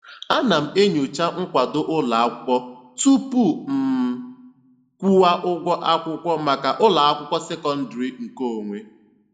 Ana m enyocha nkwado ụlọakwụkwọ tupu m kwụwa ụgwọ akwụkwọ maka ụlọakwụkwọ sekondịrị nke onwe.